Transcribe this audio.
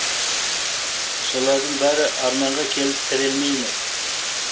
солардың бәрі арманға келіп тірелмей ме